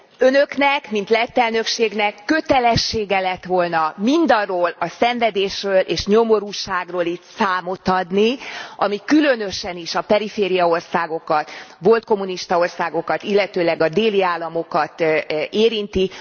Önöknek, mint lett elnökségnek, kötelessége lett volna mindarról a szenvedésről és nyomorúságról itt számot adni, ami különösen is a perifériaországokat, volt kommunista országokat, illetőleg a déli államokat érinti!